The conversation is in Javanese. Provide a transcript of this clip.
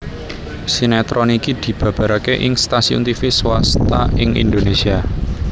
Sinetron iki dibabaraké ing stasiun tivi swasta ing Indonésia